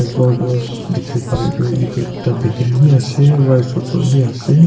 Kor tu dekhe bo bareya tu etu ekta bakery beh ase rice hotel beh ase.